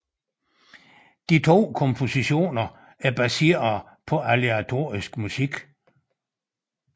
De to kompositioner er baseret på aleatorisk musik